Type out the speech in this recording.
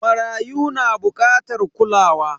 Marayu na bukatar kulawa.